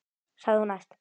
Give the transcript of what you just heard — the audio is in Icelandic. sagði hún æst.